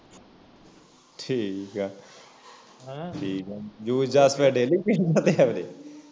ਠੀਕ ਆ ਠੀਕ ਆ juice ਜਾਸ daily ਪੀ